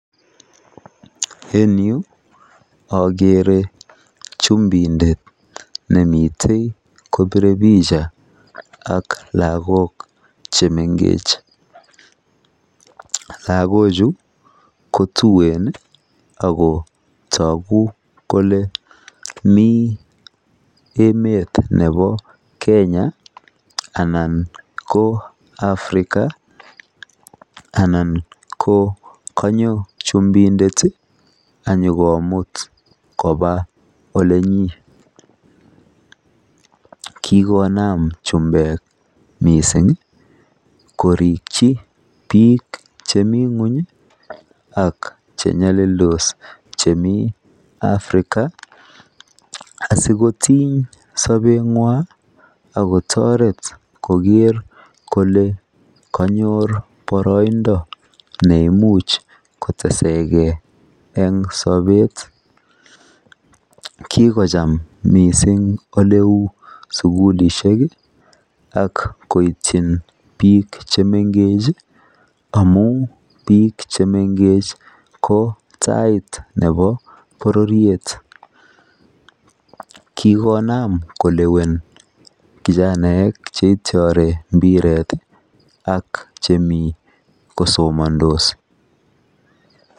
En yuu okere chumindet nemiten kopire picha ak lokok chemengech lokok chuu kotuwen ako toku kole mii emet nebo Kenya ana ko African anan ko konyo chumindet ayokomut koba olenyin. Kikonam chumbek missing koriki bik chemii ngweny ak chenyolildos chemii African asikotiny sobenywan ak kotoret koger kole konyor boroindo neimuch kotesegee en sobet, kokocham missing oleu sukulishek ak koityin bik chemengech amun bik chemengech ko tai nebo bororiet. Kikonam kilewen kijanaek cheityore mpiret ak chemii kosomondos.